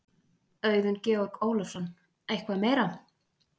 Auðun Georg Ólafsson: Eitthvað meira?